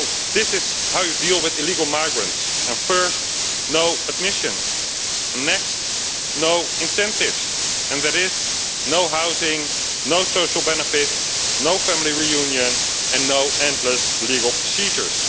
This is how you deal with illegal migrants first, no admissions, and next no incentives, and that is no housing, no social benefits, no family reunion and no endless legal procedures.